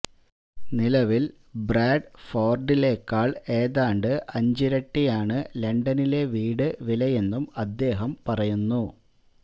നിലവില് ബ്രാഡ്ഫോര്ഡിലെക്കാള് ഏതാണ്ട് അഞ്ചിരട്ടിയാണ് ലണ്ടനിലെ വീട് വിലയെന്നും അദ്ദേഹം പറയുന്നു